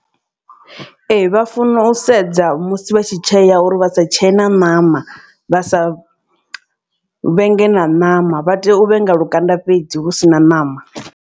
Ee vha funa u sedza musi vha tshi tshea uri vha sa tshee na ṋama vha sa vhenge na ṋama vha tea u vhenga lukanda fhedzi hu si na ṋama.